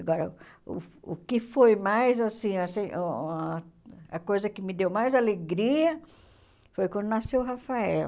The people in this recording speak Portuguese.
Agora, o o que foi mais assim, assim ah a coisa que me deu mais alegria foi quando nasceu o Rafael.